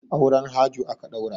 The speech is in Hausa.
Auren Hajo aka ɗaura.